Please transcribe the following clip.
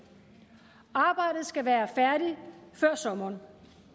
arbejdet skal være færdigt før sommeren